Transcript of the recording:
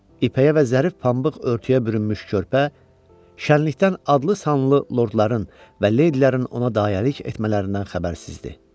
İpəyə və zərif pambıq örtüyə bürünmüş körpə şənlikdən adlı sanlı lordların və leydilərin ona dayəlik etmələrindən xəbərsiz idi.